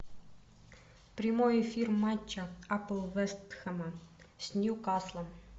прямой эфир матча апл вест хэма с ньюкаслом